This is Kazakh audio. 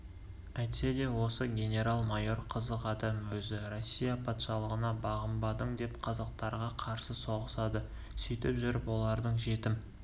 әйтсе де осы генерал-майор қызық адам өзі россия патшалығына бағынбадың деп қазақтарға қарсы соғысады сөйтіп жүріп олардың жетім